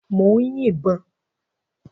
Mò ń yin ìbọn.